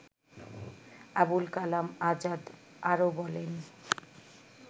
আবুল কালাম আযাদ আরো বলেন